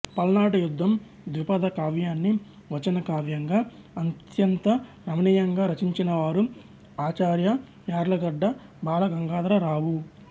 పల్నాటి యుద్ధం ద్విపద కావ్యాన్ని వచన కావ్యంగా అత్యంత రమణీయంగా రచించిన వారు ఆచార్య యార్లగడ్డ బాల గంగాధరరావు